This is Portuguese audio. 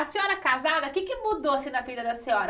A senhora casada, o que é que mudou assim na vida da senhora?